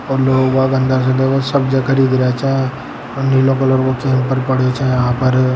और लोग बाग देखो अन्दर से सब्जियां खरीद रा च और नीलो कलर चैम्बर पड़यो च यहाँ पर।